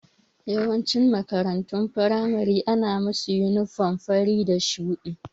Yawancin makarantun firamare ana musa yunifam fari da shuɗi